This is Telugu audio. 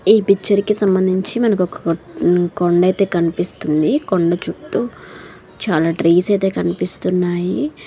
ఈ పిక్చర్ కి సంబంధించి మనకొక కొండైతే కనిపిస్తుంది. కొండ చుట్టు చాలా ట్రీస్ అయితే కనిపిస్తున్నాయి.